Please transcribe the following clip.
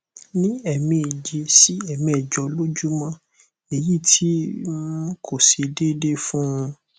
ni emeje si emejo lojumo eyi ti um ko se deede fun